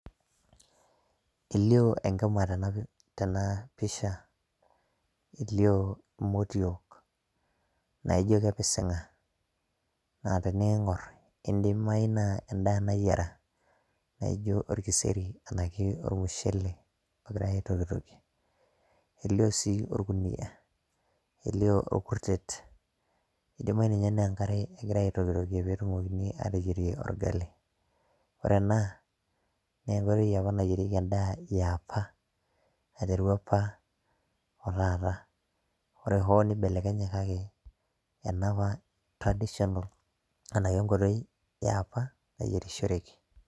Elioo enkima tena pisha, elioo imotiok naijo kepisinga. Naa teningor idimayu naa endaa nayiera naijo orkiseri anake ormushele ogirae aitokitokie .Elioo sii orkunia , elio orkutet, indimayu ninye naa enkare egirae aitokitokie petumokini ateyier orgali .Ore ena naa enkoitoi apa nayierieki endaa eapa, aiteru apa otaata. Ore nibelekenye kake enapa traditional enake kenkoitoi eapa nayierishoreki.